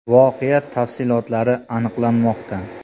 Voqea tafsilotlari aniqlanmoqda.